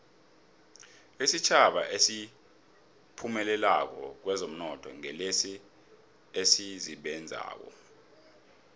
isitjhaba esiphumelelako kwezomnotho ngilesi esisebenzako